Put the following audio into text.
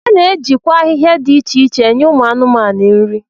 A na-ejikwa ahịhịa dị iche iche enye ụmụ anụmanụ nri